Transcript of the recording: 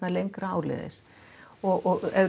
lengra áleiðis og er